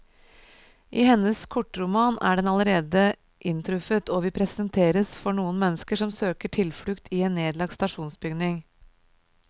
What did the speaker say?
I hennes kortroman er den allerede inntruffet, og vi presenteres for noen mennesker som søker tilflukt i en nedlagt stasjonsbygning.